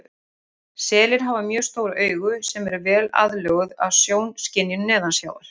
Selir hafa mjög stór augu sem eru vel aðlöguð að sjónskynjun neðansjávar.